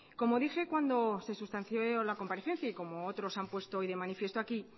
como dije cuando se sustanció la comparecencia y como otros se han puesto hoy de manifiesto aquí